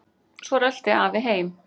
Svo rölti afi heim.